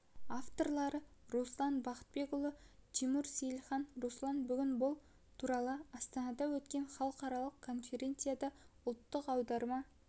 авторлары руслан бақытбекұлы тимур сейілхан руслан бүгін бұл туралы астанада өткен халықаралық конференцияда ұлттық аударма